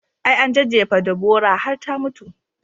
I, an jejjefe Deborah har ta mutu